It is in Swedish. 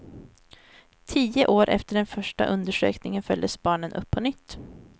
Tio år efter den första undersökningen följdes barnen upp på nytt.